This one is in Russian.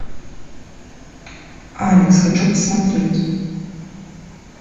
алекс хочу посмотреть